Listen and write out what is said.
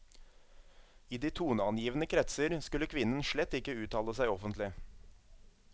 I de toneangivende kretser skulle kvinnen slett ikke uttale seg offentlig.